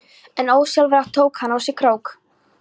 En ósjálfrátt tók hann á sig krók.